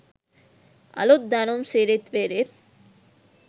අලුත් දැනුම් සිරිත් විරිත්